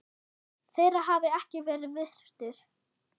þeirra hafi ekki verið virtur.